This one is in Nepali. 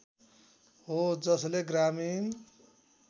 हो जसले ग्रामीण